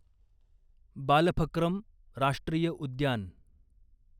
बालफक्रम राष्ट्रीय उद्यान